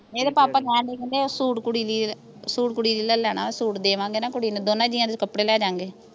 ਇਹਦੇ ਪਾਪਾ ਕਹਿਣ ਡਏ ਕਹਿੰਦੇ ਸੂਟ ਕੁੜੀ ਲਈ ਸੂਟ ਕੁੜੀ ਲਈ ਲੈ ਲੈਣਾ ਸੂਟ ਦੇਵਾਂਗੇ ਨਾਂ ਕੁੜੀ ਨੂੰ ਦੋਨਾਂ ਜੀਆਂ ਦੇ ਕੱਪੜੇ ਲੈ ਦਿਆਂਗੇ